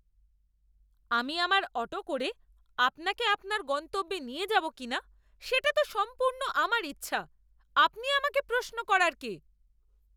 আমি আমার অটো করে আপনাকে আপনার গন্তব্যে নিয়ে যাবো কিনা সেটা তো সম্পূর্ণ আমার ইচ্ছা। আপনি আমাকে প্রশ্ন করার কে?